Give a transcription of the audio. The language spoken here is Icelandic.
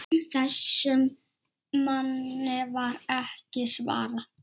Þessum manni var ekki svarað.